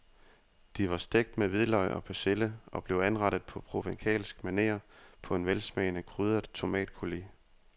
De var stegt med hvidløg og persille og blev anrettet på provencalsk maner på en velsmagende krydret tomatcoulis.